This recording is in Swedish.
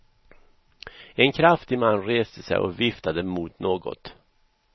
En kraftig man reste sig och viftade mot någonting.